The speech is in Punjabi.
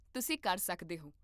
ਤੁਸੀਂ ਕਰ ਸਕਦੇ ਹੋ